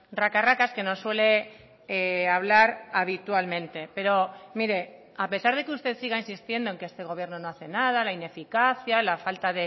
raca racas que nos suele hablar habitualmente pero mire a pesar de que usted siga insistiendo en que este gobierno no hace nada la ineficacia la falta